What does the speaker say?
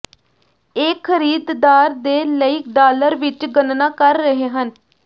ਇਹ ਖਰੀਦਦਾਰ ਦੇ ਲਈ ਡਾਲਰ ਵਿੱਚ ਗਣਨਾ ਕਰ ਰਹੇ ਹਨ